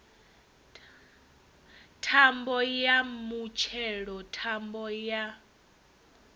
thambo ya mutshelo thambo ya